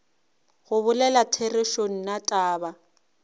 go bolela therešo nna taba